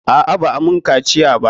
A'a, ba'a mun kaciya ba.